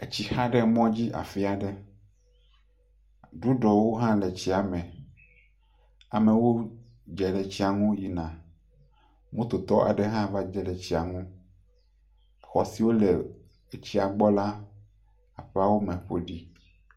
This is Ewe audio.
Etsi xa ɖe mɔ dzi afi aɖe. Geɖewo ha le etsi me. Moto tɔ aɖe hã va gedze etsia ŋu. Xɔ si wole etsia gbɔ aƒe aɖewo me ƒo ɖi.